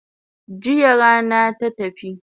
Jiya rana na tafi